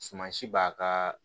Suman si b'a kaa